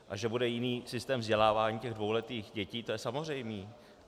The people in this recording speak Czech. A že bude jiný systém vzdělávání těch dvouletých dětí, to je samozřejmé.